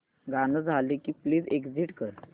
गाणं झालं की प्लीज एग्झिट कर